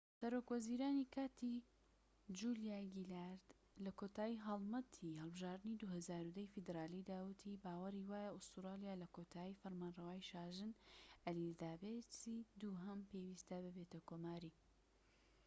سەرۆک وەزیرانی کاتی، جولیا گیلارد لە کۆتای هەڵمەتی هەڵبژاردنی ٢٠١٠ ی فیدرالیدا وتی باوەری وایە ئوستورالیا لە کۆتایی فەرمانرەوایی شاژن ئەلیزابێسی دووهەم پێویستە ببێتە کۆماری